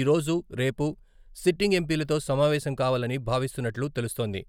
ఈరోజు, రేపు సిట్టింగ్ ఎంపీలతో సమావేశం కావాలని భావిస్తున్నట్లు తెలుస్తోంది.